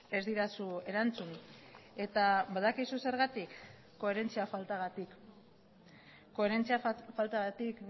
ez didazu erantzun eta badakizu zergatik koherentzia faltagatik koherentzia faltagatik